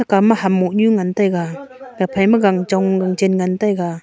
kama ham mohnu ngan taiga ephai ma gang chong gan chen ngan taiga.